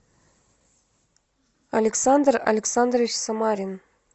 александр александрович самарин